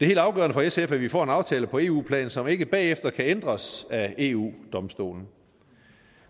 helt afgørende for sf at vi får en aftale på eu plan som ikke bagefter kan ændres af eu domstolen